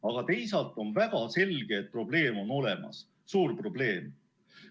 Aga teisalt on väga selge, et probleem on olemas, suur probleem.